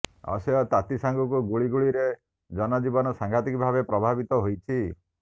ଅସହ୍ୟ ତାତି ସାଙ୍ଗକୁ ଗୁଳୁଗୁଳିରେ ଜନଜୀବନ ସାଂଘାତିକ ଭାବେ ପ୍ରଭାବିତ ହୋଇଛି